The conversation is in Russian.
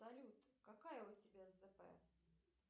салют какая у тебя зп